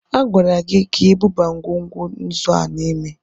A gwara gị ka i buba ngwugwu nzu a n'ime!